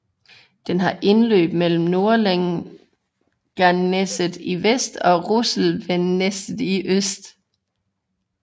Den har indløb mellem Nordlenangsnesset i vest og Russelvnesset i øst